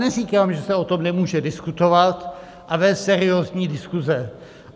Neříkám, že se o tom nemůže diskutovat a vést seriózní diskuze.